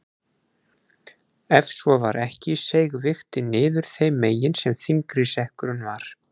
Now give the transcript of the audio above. Ef svo var ekki seig vigtin niður þeim megin sem þyngri sekkurinn var.